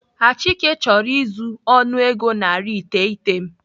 Achike chọrọ izu ọnụego narị iteghete m